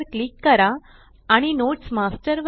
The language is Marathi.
वर क्लिक करा आणि नोट्स मास्टर